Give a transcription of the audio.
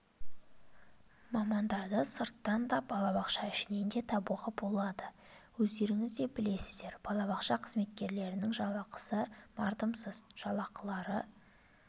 мамандарды сырттан да балабақша ішінен де табуға болады өздеріңіз де білесіздер балабақша қызметкерлерінің жалақысы мардымсыз жалақылары